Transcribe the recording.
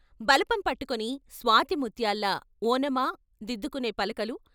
బలపం పట్టుకొని స్వాతి ముత్యాల్లా ఓనమా దిద్దుకునే పలకలు.